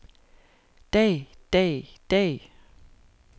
dag dag dag